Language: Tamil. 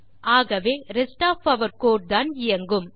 ஆகவே ரெஸ்ட் ஒஃப் ஆர் கோடு தான் இயங்கும்